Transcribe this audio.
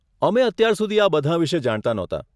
અમે અત્યાર સુધી આ બધાં વિષે જાણતા નહોતાં.